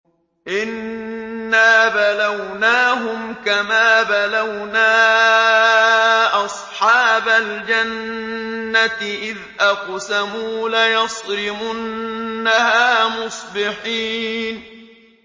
إِنَّا بَلَوْنَاهُمْ كَمَا بَلَوْنَا أَصْحَابَ الْجَنَّةِ إِذْ أَقْسَمُوا لَيَصْرِمُنَّهَا مُصْبِحِينَ